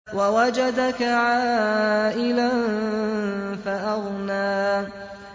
وَوَجَدَكَ عَائِلًا فَأَغْنَىٰ